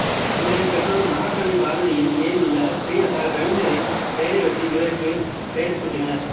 இவரின் பெற்றோர் மகாகவி பாரதியின் மேல் உள்ள பிரியத்தால் கவிஞரின் பெயரையொட்டி இவருக்கு பெயர் சூட்டினர்